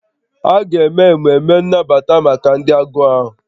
A ga-eme emume nnabata maka ndị agụụ ahụ